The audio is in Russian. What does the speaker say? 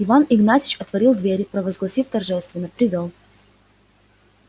иван игнатьич отворил двери провозгласив торжественно привёл